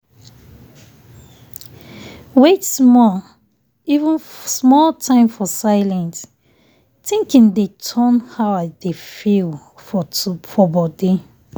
wait small um even small time for silent thinking dey turn how i dey feel for body.